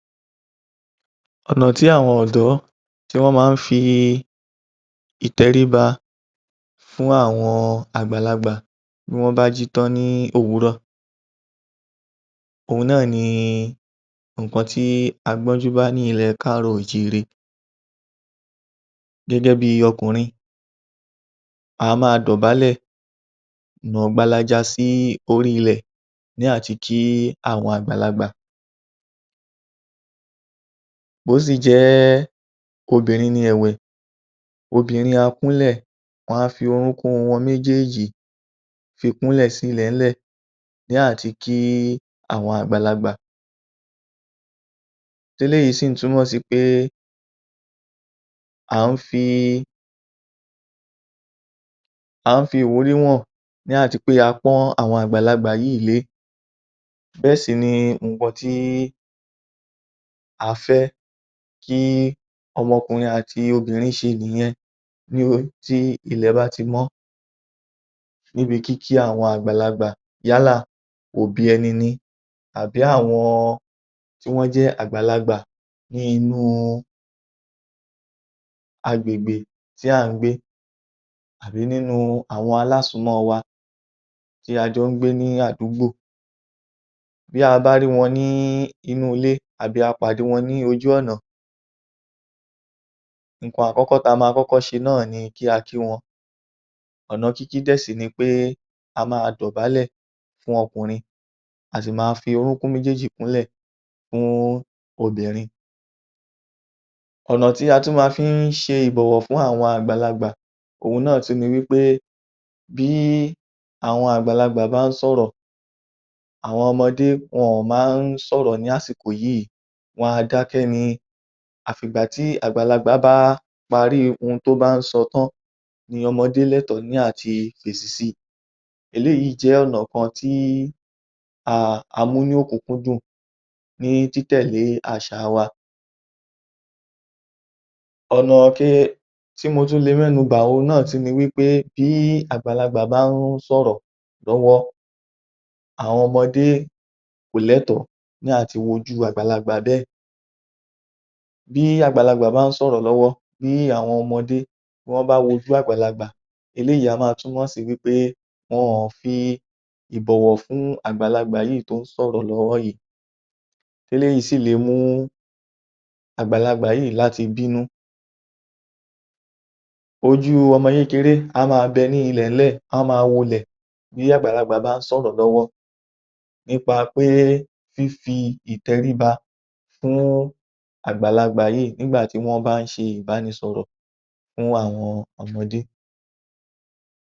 Ọ̀nà tí àwọn ọ̀dọ́ tí wọ́n ma ń fi ìtẹríba fún àwọn àgbàlagbà bí wọ́n bá jí tán ní òwúrọ̀, òhún ni nǹkan tí a gbọ́njú bá ní ilẹ̀ káàrọ́ọ̀ o ò jíire. Gẹ́gẹ́ bí i ọkùnrin a máa dọ̀bálẹ̀, nà gbalaja sí orí ilẹ̀ ní àti kí àwọn àgbàlagbà, bí ó sì jẹ́ obìnrin ẹ̀wẹ̀, obìnrin a kúnlẹ̀, wọ́n á fi orúnkún wọn méjèèjì fi kúnlẹ̀ sí ilẹ̀ẹ́lẹ̀ ní àti kí àwọn àgbàlagbà, tí eléyìí sì túmọ̀ sí ń pé à ń fi à ń fi ìwúrì hàn ní a ti pé a pọ́n àwọn àgbàlagbà yìí lé, bẹ́ẹ̀ sì ni nǹkan tí a fẹ́ kí ọmọkùnrin àti obìnrin ṣe nìyẹn tí ilẹ̀ bá ti mọ́ níbi kíkí àwọn àgbàlagbà, yálà òbí ẹni ni, àbí àwọn tí wọ́n jẹ́ àgbàlagbà ní inú a agbègbè tí à ń gbé àbí nínú àwọn alásùn-ún-mọ́ wa tí a jọ́ ń gbé ní àdúgbò bí a bá rí wọn ní inú ilé àbí a pàdé wọn ní ojú ọ̀nà, nǹkan àkọ́kọ́ tí a máa kọ́kọ́ ṣe náà ni kí a kí wọn, ọ̀nà kíkí dẹ̀̀ sì ni pé a máa dọ̀bálẹ̀ fún ọkùnrin, a sì máa fi orúnkún méjéèjì kúnlẹ̀ fún obìnrin. Ọ̀nà tí a tún ma fí ń ṣe ìbọ̀wọ̀ fún àwọn àgbàlagbà òhún náà tún ni wí pé bí àwọn àgbàlagbà bá ń sọ̀rọ̀ àwọn ọmọdé wọn má ń sọ̀rọ̀ ní àsìkò yìí, wọ́n a dákẹ́ ni, àfi ìgbà tí àgbàlagbà bá parí ohun tí ó bá ń sọ tán ni ọmọdé ní ẹ̀tọ́ láti fèsì si, eléyìí jẹ́ ọ̀nà kan tí a mú ní ọ̀kúnkún dùn ní títẹ̀lé àṣà wa, Ọ̀nà tí mo tún le mẹ́nu bà òhun náà tún ni wí pé bí àgbàlagbà bá ń sọ̀rọ̀ lọ́wọ́ àwọn ọmọdé kò lẹ́tọ̀ọ́ láti wojú àgbàlagbà bẹ́ẹ̀, bí àgbàlagbà bá ń sọrọ̀ lọ́wọ́ bí àwọn ọmọdé bí wọ́n bá wojú àgbàlagbà, eléyìí á máa túmọ̀ sí pé wọn ò fi ìbọ̀wọ̀ fún àgbàlagbà yìí tó ń sọ̀rọ̀ lọ́wọ́ yìí, eléyìí sì le mú àgbàlagbà yìí láti bínú. Oju ọmọ kékeré bẹ́ẹ̀ á máa bẹ ní ilẹ̀lẹ́lẹ̀, á máa wolẹ̀ bí àgbàlagbà bá ń sọ̀rọ̀ lọ́wọ́ nípa pé fífi ìtẹríba fún àgbàlagbà yìí nígbà tí wọ́n bá ń ṣe ìbánisọrọ̀ fún àwọn ọmọdé.